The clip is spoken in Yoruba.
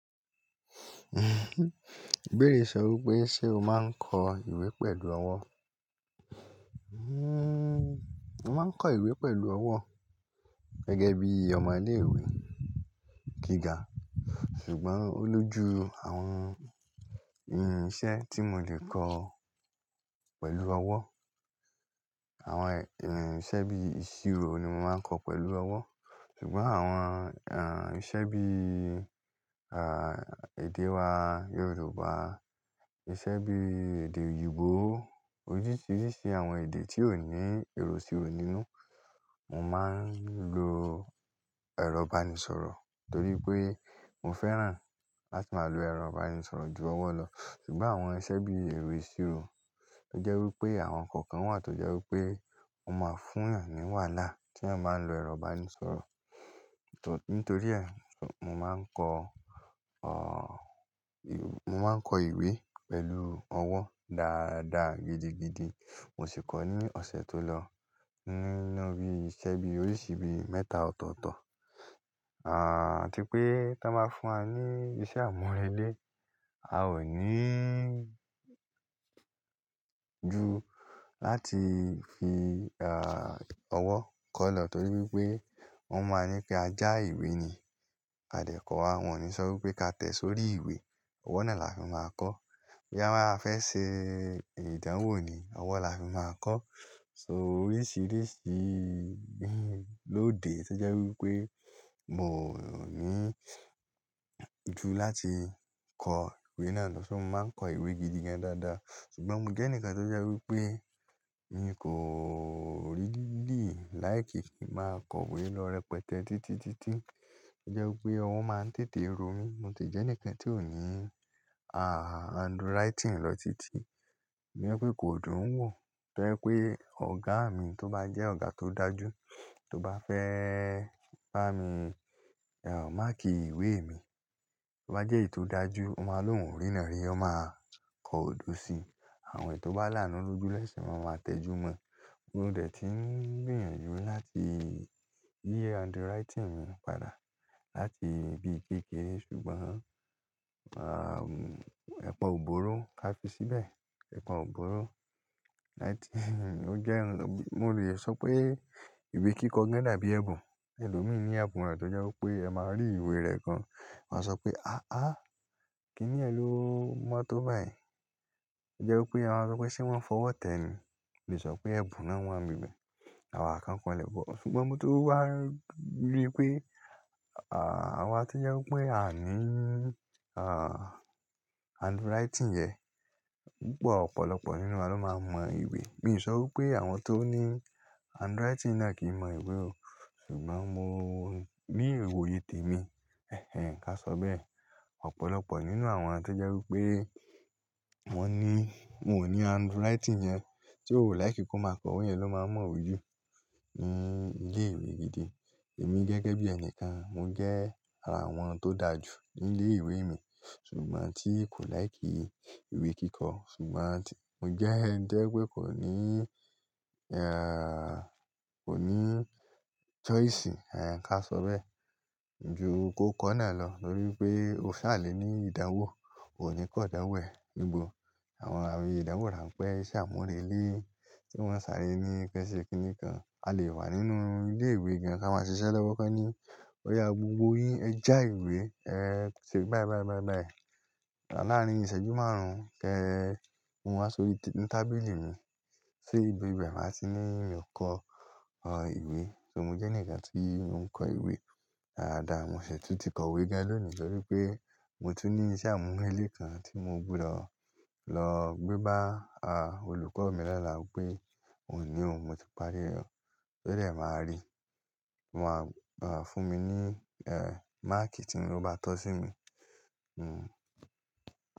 Gbére sọ wípé, "Ṣé o máa ń kọ ìwé pẹ̀lú ọwọ́?" Hmm, mo máa ń kọ ìwé pẹ̀lú ọwọ́ gẹ́gẹ́ bí ọmọ ilé ìwé gíga, ṣùgbọ́n ó lójú àwọn, ehn, iṣẹ́ tí mo lè kọ pẹ̀lú ọwọ́. Àwọn, ehn, iṣẹ́ bí iṣiro ni mo máa ń kọ pẹ̀lú ọwọ́. Ṣùgbọ́n àwọn, ehn, iṣẹ́ bí, ah, èdè wa Yorùbá, iṣẹ́ bí èdè òyìnbó, oríṣiríṣi àwọn èdè tí ó ní èrò siro nínú, mo máa ń lo ẹ̀rọ ìbánisọ̀rọ̀ torí pé mo fẹ́ràn láti máa lo ẹ̀rọ ìbánisọ̀rọ̀ ju ọwọ́ lọ. Ṣùgbọ́n àwọn iṣẹ́ bí i ìwé ìṣirò, ó jẹ́ wípé àwọn nnkan kan wà tó jẹ́ wípé mo máa fún ọ̀nà ní wàhálà tí a bá ń lo ẹ̀rọ ìbánisọ̀rọ̀. Nítorí ẹ, mo máa ń kọ, ah, mo máa ń kọ ìwé pẹ̀lú ọwọ́ dáadáa gidigidi. Mo sì kọ ní ọ̀sẹ̀ tó lọ, ní, ní bí iṣẹ́ bí oríṣi bí mẹ́ta ọ̀tọ̀ọ̀tọ̀. Ah, tí pé tọ́n bá fún wa ní iṣẹ́ àmúrelé, a ò ní ju láti fi, ah, ọwọ́ kọ lọ torí wípé wọ́n máa ń ní kí a já ìwé ni a lè kọ wá. Wọn ò ní sọ wípé ká tẹ̀ sórí ìwé, ọwọ́ náà la fi máa kọ. Bí a bá fẹ́ ṣe ìdánwò ni, ọwọ́ la fi máa kọ. So oríṣiríṣi, ehn, lóde tó jẹ́ wípé mo ò ní ju láti kọ ìwé náà lọ. So mo máa ń kọ ìwé gidi gan dáadáa. Ṣùgbọ́n mo jẹ́ ẹnìkan tó jẹ́ wípé mi kò rílì láì kí n máa kọ ìwé lọ rẹpẹtẹ títitítí. Ó jẹ́ wípé ọwọ́ máa ń tètè ro mí. Mo ti jẹ́ ẹnìkan tí ò ní, ah, handwriting lọ títí. Tó jé pé kò dùn ún wò. To jẹ́ pé ọ̀gá mi tó bá jẹ́ ọ̀gá tó dájú, tó bá fẹ́ bá mi, ehn, máàkì ìwé mi, tó bá jẹ́ èyí tó dájú, ó máa lo òun rìnrìnàrí, ó máa kọ odò sí i. Àwọn ètò bá lánu loju la'sẹ́sẹ̀ máa tẹjúmọ́. Mo dè ti ń gbìyànjú láti yi handwriting mi padà láti bí i kéékèè. Ṣùgbọ́n, ah, ẹ̀pa ò bóró ká fi síbẹ̀. Ẹ̀pa ò bóró. Ó jẹ́, mo lè sọ pé ìwé kíkọ gàn dàbí ẹ̀bùn. Ẹlòmíràn ní ẹ̀bùn re tó jẹ́ wípé ẹ máa rí ìwé rẹ gan, wọ́n á sọ pé, "Aha! Kí ni ẹ ló mọ̀ tó báyìí?" Ó jẹ́ wípé wọ́n á sọ pé ṣé wọ́n fọwọ́ tẹ́ ẹ ni. Mo lè sọ pé ẹ̀bùn náà wọ́n á gbègbè. Àwa kan kọ́ le gbọ́. Ṣùgbọ́n mo tó wá rí pé, ah, àwa tí jẹ́ wípé a ní, ah, handwriting yẹn, pupọ̀ ọ̀pọ̀lọpọ̀ nínú wa ló máa mọ ìwé. Mi ò sọ wípé àwọn tó ní handwriting náà kì í mọ ìwé o. Ṣùgbọ́n mo, ní ìwòye tèmi, ká sọ bẹ́ẹ̀, ọ̀pọ̀lọpọ̀ nínú àwọn tí jẹ́ wípé wọ́n ní, wọn ò ní handwriting yẹn tí ó láì kí wọn máa kọ ìwé yẹn ló máa mọ̀ ojú ní ilé ìwé gidi. Èmi gẹ́gẹ́ bí ẹni kan, mo jẹ́ ara àwọn tó dájú ní ilé ìwé mi, ṣùgbọ́n tí kò láì kí ìwé kíkọ. Ṣùgbọ́n tìí, mo jẹ́ ẹnì dé pé kò ní, ehn, kò ní choice, ehn, ká sọ bẹ́ẹ̀, ju ko kọ náà lọ torí pé o ṣà lè ní ìdánwò, o ní kò dánwò ẹ̀. Ìbò, àwọn àwọn ìdánwò ránpẹ́, iṣẹ́ àmúrelé tí wọ́n ń sáré ní kẹ́sẹ̀kẹ́sẹ̀ kí nìkan a lè wà nínú ilé ìwé gan. Ka máa ṣiṣẹ́ lọ́wọ́kọ́ ni. Ọ̀yà gbogbo yín ẹ já ìwé, ẹ ṣe báyìí, báyìí, báyìí, báyìí. Lárin ìṣẹ́jú márùn-ún kí ẹ, ko wọn wá sórí tábìlì mi. Sé ibi bẹ́ẹ̀ waa ti ní kọ ìwé. So mo jẹ́ ẹnìkan tíì mo ń kọ ìwé dáadáa. Mo ṣè tún ti kọ ìwé gan lọ́ni torí pé mo tún ní iṣẹ́ àmúrelé kan tí mo gbúdọ̀ lọ gbé bá, ah, olùkọ́ mi lola pé òun ní òun mo ti parí rẹ̀. O dẹ máa rí. Wọn máa, ah, fún mi ní, ehn, máàkì tí wọn bá tọ́ sí mi. Hmm.